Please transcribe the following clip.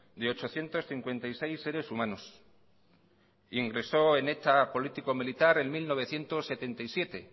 de ochocientos cincuenta y seis seres humanos ingresó en eta político militar en mil novecientos setenta y siete